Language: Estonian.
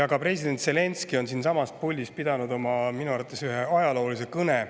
Ka president Zelenskõi on siinsamas puldis pidanud minu arvates ühe ajaloolise kõne.